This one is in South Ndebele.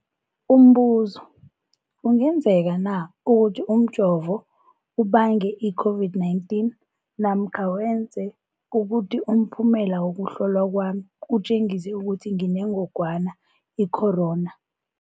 Umbuzo, kungenzekana ukuthi umjovo ubange i-COVID-19 namkha wenze ukuthi umphumela wokuhlolwa kwami utjengise ukuthi nginengogwana i-corona?